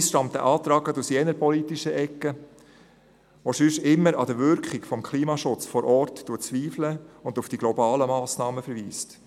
Interessanterweise stammt der Antrag gerade aus jener politischen Ecke, die sonst immer an der Wirkung des Klimaschutzes vor Ort zweifelt und auf die globalen Massnahmen verweist.